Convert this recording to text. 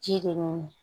Ji de mɔ